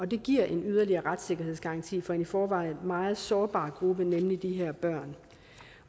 det giver en yderligere retssikkerhedsgaranti for en i forvejen meget sårbar gruppe nemlig de her børn